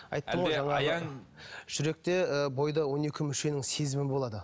жүректе ы бойда он екі мүшенің сезімі болады